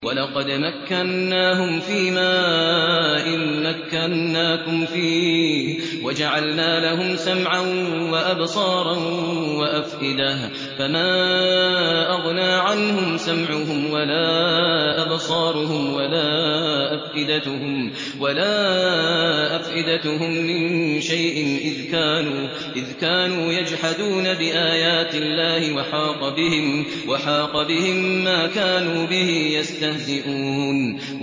وَلَقَدْ مَكَّنَّاهُمْ فِيمَا إِن مَّكَّنَّاكُمْ فِيهِ وَجَعَلْنَا لَهُمْ سَمْعًا وَأَبْصَارًا وَأَفْئِدَةً فَمَا أَغْنَىٰ عَنْهُمْ سَمْعُهُمْ وَلَا أَبْصَارُهُمْ وَلَا أَفْئِدَتُهُم مِّن شَيْءٍ إِذْ كَانُوا يَجْحَدُونَ بِآيَاتِ اللَّهِ وَحَاقَ بِهِم مَّا كَانُوا بِهِ يَسْتَهْزِئُونَ